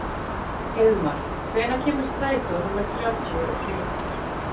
Heiðmar, hvenær kemur strætó númer þrjátíu og sjö?